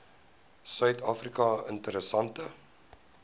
suid afrika interessante